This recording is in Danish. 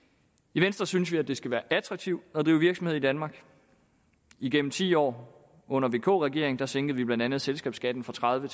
i venstre synes vi at det skal være attraktivt at drive virksomhed i danmark igennem ti år under vk regeringen sænkede vi blandt andet selskabsskatten fra tredive